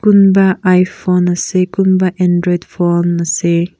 kunba iphone ase kunba android phone ase.